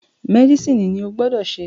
Mẹ́dísìnì ni o gbọ́dọ̀ se